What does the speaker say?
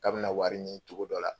Kabini wari ɲin cogo dɔ la